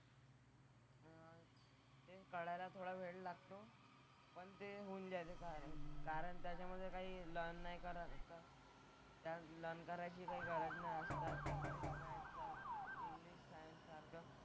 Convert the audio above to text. ते कळायला थोडा वेळ लागतो. पण ते होऊन जातं. कारण त्याच्यामधे काही लर्न नाही करा त्यात लर्न करायची काही गरज नाही असतात ती.